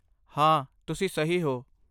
ਹਾਂ, ਤੁਸੀਂ ਸਹੀ ਹੋ।